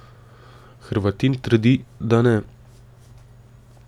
Hrvatin trdi, da ne.